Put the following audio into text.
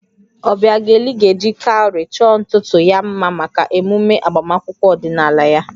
Obiageli ga-eji cowry chọọ ntutu ya mma maka emume agbamakwụkwọ ọdịnala ya